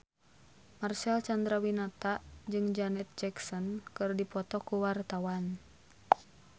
Marcel Chandrawinata jeung Janet Jackson keur dipoto ku wartawan